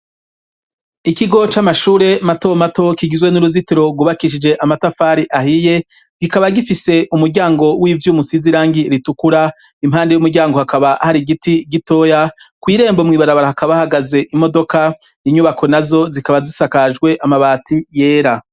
Ikigo c'amashure mato mato kigizwe n'uruzitiro rwubakishije amatafari ahiye kikaba gifise umuryango w'ivyuma usize irangi ritukura impande y'umuryango hakaba hari igiti gitoya kw'irembo mwibarabara hakaba hahagaze imodoka inyubako nazo zikaba zisakajwe amabati yera.